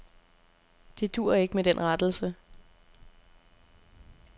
Det duer ikke med den rettelse.